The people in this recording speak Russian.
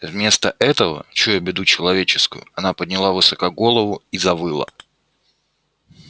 вместо этого чуя беду человеческую она подняла высоко голову и завыла